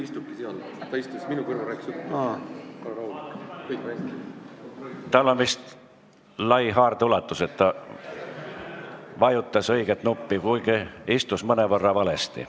Tal on vist lai haardeulatus, et ta vajutas õiget nuppu, kuigi istus mõnevõrra valesti.